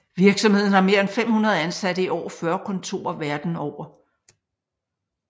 Virksomheden har mere end 500 ansatte i over 40 kontorer verden over